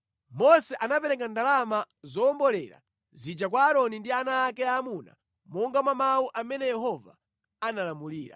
Mose anapereka ndalama zowombolera zija kwa Aaroni ndi ana ake aamuna monga mwa mawu amene Yehova analamulira.